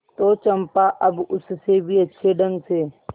तो चंपा अब उससे भी अच्छे ढंग से